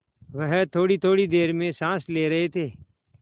वह थोड़ीथोड़ी देर में साँस ले रहे थे